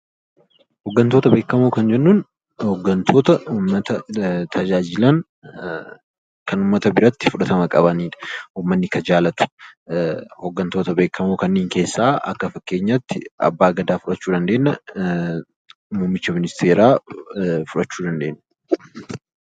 Hoggantoota beekamoo kan jennuun hoggantoota uummata tajaajilan kan uummata biratti fudhatama qabani dha. Uummanni kan jaallatu, hoggantoota beekamoo kanneen keessaa akka fakkeenyaa tti Abbaa Gadaa fudhachuu dandeenya, Muummicha ministeeraa fudhachuu dandeenya.